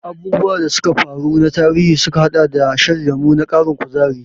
Abubuwan da suka faru na tarihi sukan haɗa da shan lemon ƙarin kuzari.